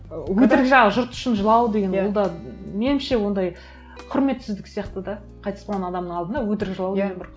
ы өтірік жылау жұрт үшін жылау деген ол да меніңше ондай құрметсіздік сияқты да қайтыс болған адамның алдына өтірік жылау деген бір